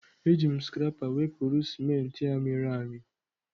Eji m scrapper wepụrụ ciment a mịrị amị.